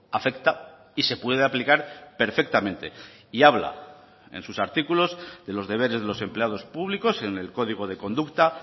afecta y se puede aplicar perfectamente y habla en sus artículos de los deberes de los empleados públicos en el código de conducta